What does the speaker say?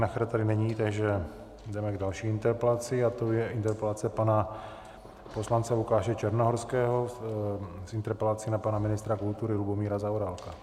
Nacher tady není, takže jdeme k další interpelaci a tou je interpelace pana poslance Lukáše Černohorského s interpelací na pana ministra kultury Lubomíra Zaorálka.